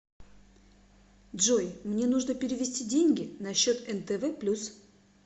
джой мне нужно перевести деньги на счет нтв плюс